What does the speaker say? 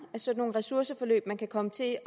af sådan nogle ressourceforløb man kan komme til